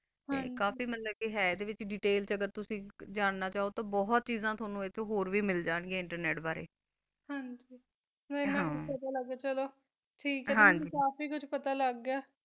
ਹਨ ਜੀ ਕਾਫੀ ਚਾਜਿਆ ਹ ਨਾ ਅਗਰ ਤੁਸੀਂ ਚੋ ਤਾ ਹੋਰ ਵੀ ਦੇਤੈਲ ਹ ਵ ਬੋਹਤ ਚੀਜ਼ਾ ਏਥੋ ਹੋਰ ਵੀ ਮਿਲ ਜਾਨ ਗਯਾ ਇੰਟਰਨੇਟ ਬਾਰਾ ਹਨ ਗੀ ਮੇਨੋ ਬੋਹਤ ਚੰਗਾ ਲਗਾ ਆ ਠੀਕ ਆ ਗੀ ਮੇਨੋ ਕਾਫੀ ਉਚ ਪਤਾ ਲਾਗ ਗਯਾ ਆ